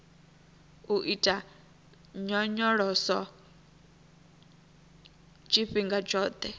u ita nyonyoloso tshifhinga tshoṱhe